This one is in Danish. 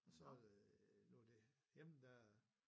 Og så øh nu det hjemme der